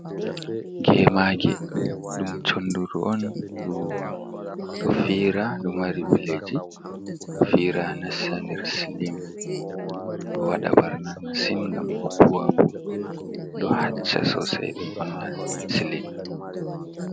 Gemage ɗum chonduru on ɗo fira, ɗo mari bileji, ɗo fira na nasta nder slin, ɗo waɗa ɓarna masin gam ɗo bu'a ɗo hacca sosai bo vonna slin.